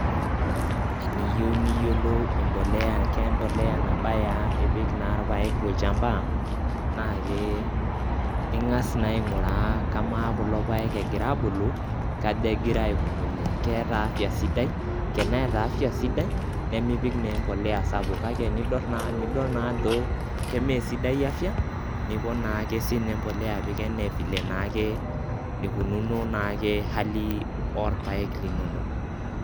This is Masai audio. Tiniyou niyiolou empolea kempolea nabaa ipik naa irpaek tolchamba, naake ing'as naa aing'uraa kamaa kulo paek egiraabulu kaja egiraikununye keeta  afya sidai, teneeta afya sidai nemipik naa empolea sapuk kake nidol naajo kemeesidai afya nipon naake sine empolea apik anaa  vile naake nikununo naake hali orpaek linono.